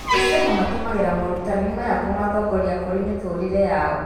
Akristiano matũmagĩra moorutani maya kũmatongoria kũrĩ mĩtũrĩre yao.